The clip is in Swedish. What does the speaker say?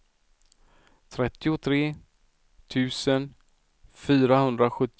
trettiotre tusen fyrahundrasjuttiofyra